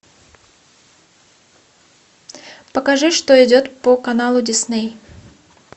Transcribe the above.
покажи что идет по каналу дисней